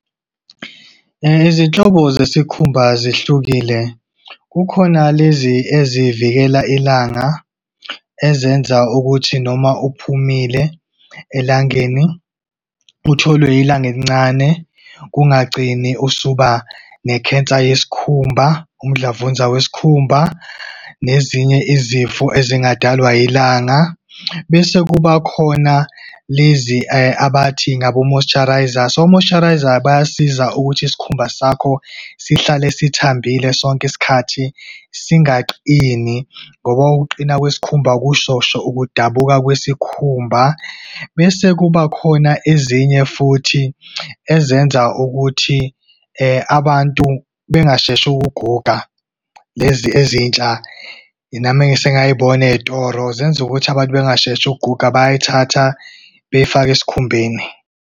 Izinhlobo zesikhumba zihlukile. Kukhona lezi ezivikela ilanga ezenza ukuthi noma uphumile elangeni, utholwe ilanga elincane, kungagcini usuba ne-cancer yesikhumba, umdlavuza wesikhumba, nezinye izifo ezingadalwa ilanga. Bese kuba khona lezi abathi ngabo-moisturisers. O-moisturisers, bayasiza ukuthi isikhumba sakho sihlale sithambile sonke isikhathi singaqini, ngoba ukuqina kwesikhumba kuzosho ukudabuka kwesikhumba. Bese kuba khona ezinye futhi, ezenza ukuthi abantu bengasheshi ukuguga. Lezi ezintsha, nami esengayibona ey'toro, zenza ukuthi abantu bengasheshi ukuguga, bayayithatha beyifake esikhumbeni.